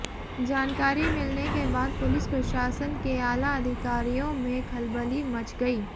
जानकारी मिलने के बाद पुलिस प्रशासन के आला अधिकारियों में खलबली मच गई